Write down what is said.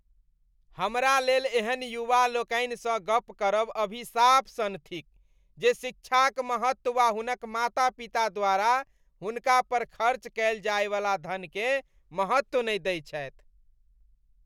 हमर लेल एहन युवा लोकनिसँ गप करब अभिशाप सन थिक जे शिक्षाक महत्व वा हुनक माता पिता द्वारा हुनका पर खर्च कयल जाइवला धनकेँ महत्व नहि दैत छथि।